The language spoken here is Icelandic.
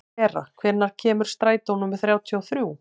Tera, hvenær kemur strætó númer þrjátíu og þrjú?